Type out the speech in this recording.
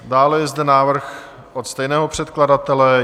Dále je zde návrh od stejného předkladatele.